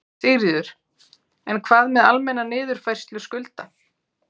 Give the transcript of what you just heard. Sigríður: En hvað með almenna niðurfærslu skulda?